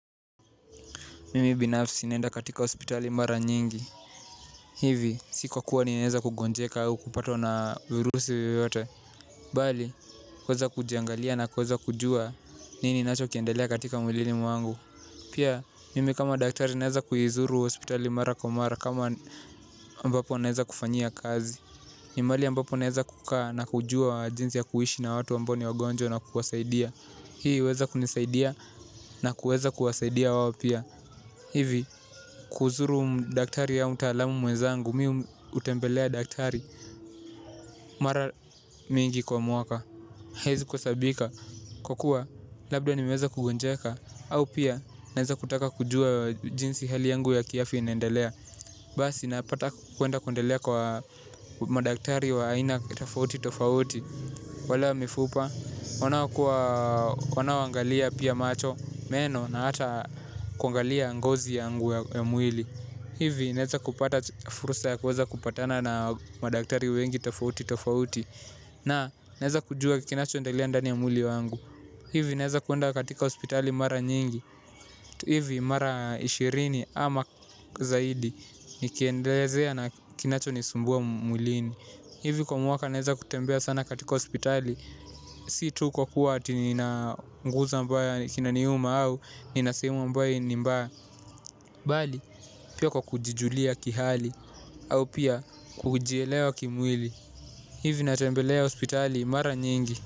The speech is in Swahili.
Mimi binafsi naenda katika hospitali mara nyingi. Hivi, sikuwa niweza kugonjeka au kupatwa na virusi yoyote. Bali kuweza kujiangalia na kuweza kujua nini kinachoendelea katika mwilini mwangu pia, mimi kama daktari naweza kuizuru hospitali mara kwa mara kama ambapo naweza kufanyia kazi. Ni mahali ambapo naweza kukaa na kujua jinsi ya kuishi na watu ambao ni wagonjwa na kuwasaidia hii, huweza kunisaidia na kuweza kuwasaidia wao pia. Hivi, kuzuru daktari au mtaalamu mwenzangu, mi humtembelea daktari, mara mingi kwa mwaka. Haiezi kuhesabika, kwa kuwa labda nimeweza kugonjeka, au pia naeza kutaka kujua jinsi hali yangu ya kiafya inaendelea. Basi napata kuenda kuendelea kwa madaktari wa aina tofauti tofauti, wale wa mifupa. Wanaoangalia pia macho, meno na hata kuangalia ngozi yangu ya mwili hivi naweza kupata fursa ya kuweza kupatana na madaktari wengi tofauti tofauti na naeza kujua kinachoendelea ndani ya mwili wangu hivi naeza kuenda katika hospitali mara nyingi hivi mara ishirini ama zaidi nikiendelezea na kinachonisumbua mwilini hivi kwa mwaka naeza kutembea sana katika hospitali si tu kwa kuwa ati ninaunguza ambaye kinaniuma au nina sehemu ambaye ni mbaya. Bali pia kwa kujijulia kihali au pia kujielewa kimwili. Hivi natembelea hospitali mara nyingi.